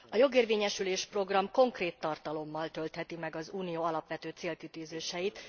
A Jogérvényesülés program konkrét tartalommal töltheti meg az Unió alapvető célkitűzéseit.